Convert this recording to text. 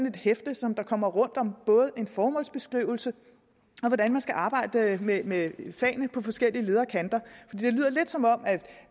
et hæfte som kommer rundt om både en formålsbeskrivelse og om hvordan man skal arbejde med med fagene på forskellige leder og kanter det lyder lidt som om at